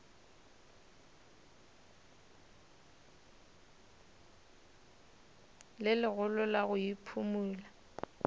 le legolo la go iphumola